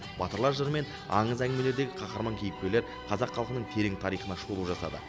батырлар жыры мен аңыз әңгімелердегі қаһарман кейіпкерлер қазақ халқының терең тарихына шолу жасады